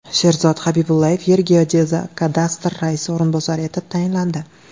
Sherzod Habibullayev Yergeodezkadastr raisi o‘rinbosari etib tayinlandi.